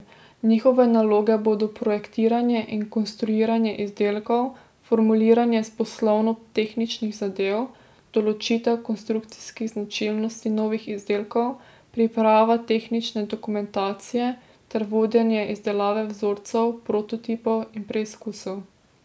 Njihove naloge bodo projektiranje in konstruiranje izdelkov, formuliranje poslovno tehničnih zahtev, določitev konstrukcijskih značilnosti novih izdelkov, priprava tehnične dokumentacije ter vodenje izdelave vzorcev, prototipov in preizkusov.